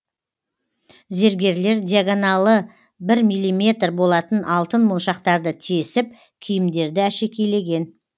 зергерлер диагоналы бір миллиметр болатын алтын моншақтарды тесіп киімдерді әшекейлеген